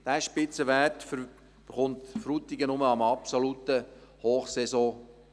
Diesen Spitzenwert erreicht Frutigen nur an einem Wochenende in der Hochsaison.